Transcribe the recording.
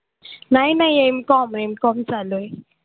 नाही नाही McomMcom चालू आहे.